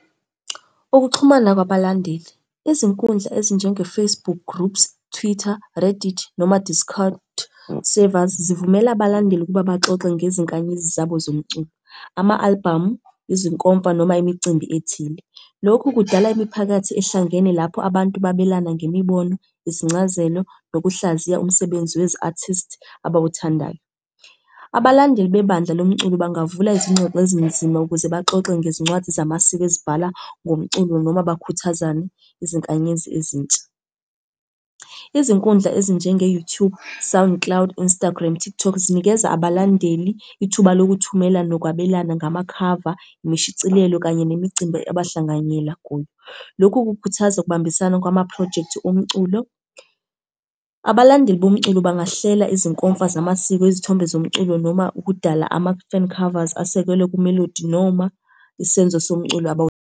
Ukuxhumana kwabalandeli. Izinkundla ezinjenge-Facebook Groups, Twitter, Reddit, noma Discord Servers, zivumela abalandeli ukuba baxoxe ngezinkanyezi zabo zomculo. Ama-alibhamu, izinkomfa noma imicimbi ethile. Lokhu kudala imiphakathi ehlangene lapho abantu babelana ngemibono, izincazelo, nokuhlaziya umsebenzi wezi-artists abawuthandayo. Abalandeli bebandla lomculo bangavula izingxoxo ezinzima ukuze baxoxe ngezincwadi zamasiko ezibhala ngomculo, noma bakhuthazane izinkanyezi ezintsha. Izinkundla ezinjenge-YouTube. Sound Cloud, Instagram, TikTok zinikeza abalandeli ithuba lokuthumela nokwabelana ngama khava, imishicilelo, kanye nemicimbi abahlanganyela kuyo. Lokhu kukhuthaza ukubambisana kwamaphrojekthi omculo. Abalandeli bomculo bangahlela izinkomfa zamasiko, izithombe zomculo, noma ukudala ama-fan covers asekelwe kumelodi noma isenzo somculo .